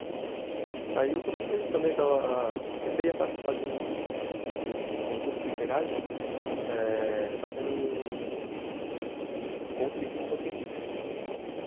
Aí eu comecei também a participar de um concurso literário eh eh fazendo um conto de ficção científica, hum